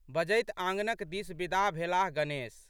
बजैत आँगनक दिस बिदा भेलाह गणेश।